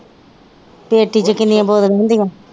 Patty ਚ ਕਿੰਨੀਆਂ ਬੋਤਲਾਂ ਹੁੰਦੀਆਂ?